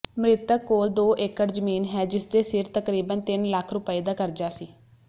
ਮ੍ਰਿਤਕ ਕੋਲ ਦੋ ਏਕੜ ਜਮੀਨ ਹੈ ਜਿਸਦੇ ਸਿਰ ਤਕਰੀਬਨ ਤਿੰਨ ਲੱਖ ਰੁਪਏ ਦਾ ਕਰਜਾ ਸੀ